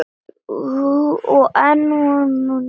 Og enn vara þessi ósköp.